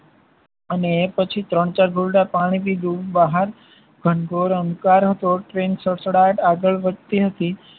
અને પછી ત્રણ ચાર ઘુંટડા પાણી પીધું. બહાર ઘનઘોર અંધકાર હતો ટ્રેન સડસડાટ આગળ વધતી હતી.